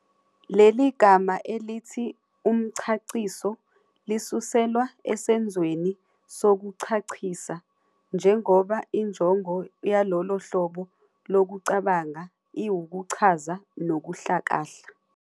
Leli gama elithi 'umchaciso' lisuselwa esenzweni sokuchachisa, njengoba injongo yalolo hlobo lokucabanga iwukuchaza nokuhlakahla.